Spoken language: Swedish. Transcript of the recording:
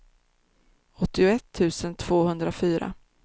åttioett tusen tvåhundrafyra